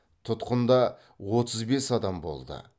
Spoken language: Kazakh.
тұтқында отыз бес адам болды